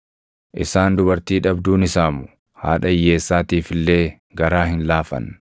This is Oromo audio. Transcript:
Isaan dubartii dhabduu ni saamu; haadha hiyyeessaatiif illee garaa hin laafan.